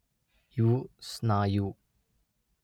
ಇವು ಸ್ನಾಯು